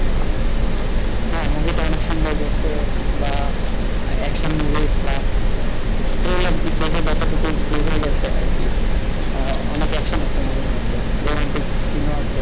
হ্যাঁ মুভিটা অনেক সুন্দর করছে বা action movie plus trailer দেখে যতটুকু বোঝা গেছে আর কি, অনেক action আছে মুভির মধ্যে romantic scene ও আছে,